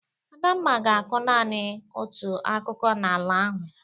Adamma ga-akụ nanị otu akụkụ n'ala ahụ.